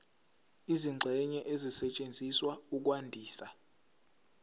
izingxenye ezisetshenziswa ukwandisa